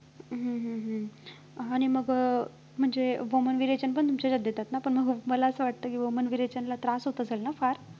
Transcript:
हम्म हम्म हम्म आणि मग अं म्हणजे वमन-विरेचन पण तुमच्या इथे देतात ना, पण मग मला अस वाटतं की वमन-विरेचनला त्रास होत असेल ना फार!